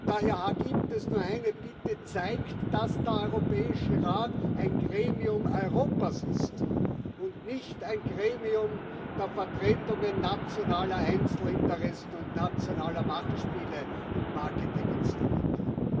Daher gibt es nur eine Bitte Zeigt, dass der Europäische Rat ein Gremium Europas ist und nicht ein Gremium der Vertretungen nationaler Einzelinteressen und nationaler Machtspiele und Marketinginstrumente!